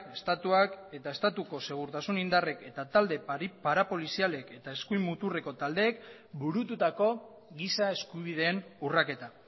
estatuak eta estatuko segurtasun indarrek eta talde parapolizialek eta eskumuturreko taldeek burututako giza eskubideen urraketa